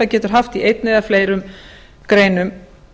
getur haft í einni eða fleiri greinum